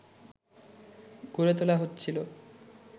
গড়ে তোলা হচ্ছিল